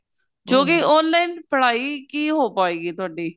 ਜੋ ਕੀ online ਪੜ੍ਹਾਈ ਕੀ ਹੋ ਪਾਏ ਗੀ ਤੁਹਾਡੀ